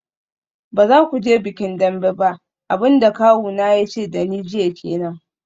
Ba za ku je bikin Dembe ba, abin da kawuna ya ce da ni jiya kenan.